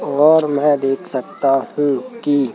और में देख सकता हूं की--